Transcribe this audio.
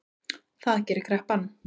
Það gerir kreppan